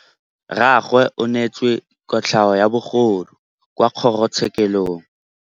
Rragwe o neetswe kotlhaô ya bogodu kwa kgoro tshêkêlông.